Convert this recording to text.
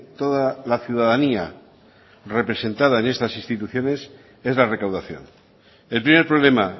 toda la ciudadanía representada en estas instituciones es la recaudación el primer problema